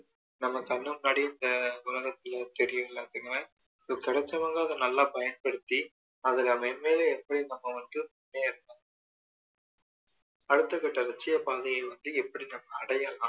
நம்ம கண்ணு முன்னாடியே உலகத்துல தெரியல அப்படின்ற மாதிரி கிடைச்சவங்க அதை நல்லா பயன்படுத்தி அதுல மென்மேலும் எப்படி நம்ம வந்து முன்னேறனும் அடுத்த கட்ட லட்சிய பாதைய வந்து எப்படி நம்ம அடையணும்